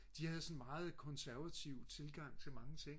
de havde sådan en meget konservativ tilgang til mange ting